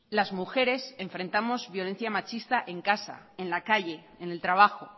las mujeres enfrentamos violencia machista en casa en la calle en el trabajo